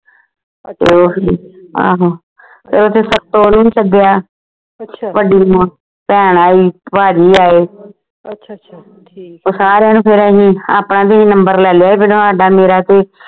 ਓਹੀ ਆਹੋ ਸੱਤੋ ਨੂੰ ਵੀ ਸੱਦਿਆ ਵੱਡੀ ਭੈਣ ਆਈ ਭਾਜੀ ਆਏ ਸਾਰਿਆਂ ਨੂੰ ਫੇਰ ਅਸੀਂ ਆਪਣਾ ਵੀ number ਲੈ ਲਇਆ ਮੇਰਾ ਤੇ